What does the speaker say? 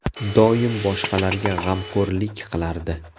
Doim boshqalarga g‘amxo‘rlik qilardi.